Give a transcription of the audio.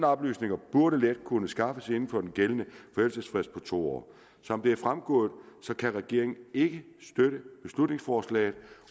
oplysninger burde let kunne skaffes inden for den gældende forældelsesfrist på to år som det er fremgået kan regeringen ikke støtte beslutningsforslaget